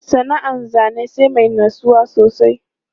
Sana'an zane sai mai natsuwa sosai.